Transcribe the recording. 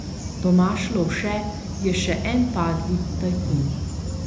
Tomaž Lovše je še en padli tajkun.